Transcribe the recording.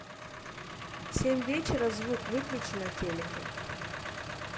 в семь вечера звук выключи на телике